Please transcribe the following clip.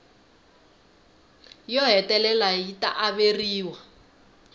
yo hetelela yi ta averiwa